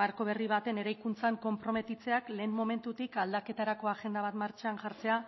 marko berri baten eraikuntzan konprometitzeak lehen momentutik aldaketarako agenda bat martxan jartzea